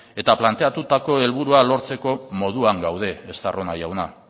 eta planteatutako helburua lortzeko moduan gaude estarrona jauna